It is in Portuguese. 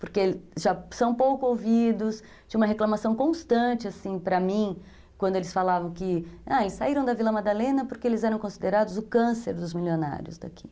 Porque são pouco ouvidos, tinha uma reclamação constante para mim, quando eles falavam que saíram da Vila Madalena porque eles eram considerados o câncer dos milionários daqui.